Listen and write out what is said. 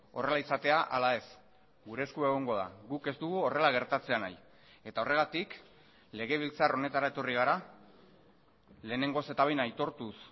horrela izatea ala ez gure esku egongo da guk ez dugu horrela gertatzea nahi eta horregatik legebiltzar honetara etorri gara lehenengoz eta behin aitortuz